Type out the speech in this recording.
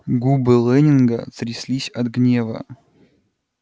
губы лэннинга тряслись от гнева